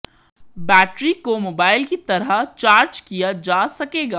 battery को mobile की तरह चार्ज किया जा सकेगा